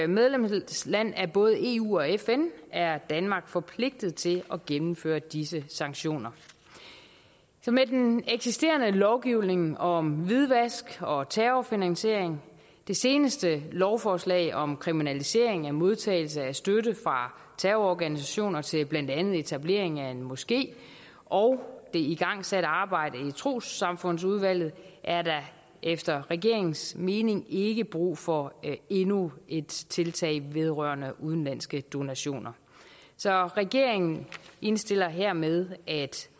medlemsland af både eu og fn er danmark forpligtet til at gennemføre disse sanktioner med den eksisterende lovgivning om hvidvask og terrorfinansiering det seneste lovforslag om kriminalisering af modtagelse af støtte fra terrororganisationer til blandt andet etablering af en moské og det igangsatte arbejde i trossamfundsudvalget er der efter regeringens mening ikke brug for endnu et tiltag vedrørende udenlandske donationer så regeringen indstiller hermed at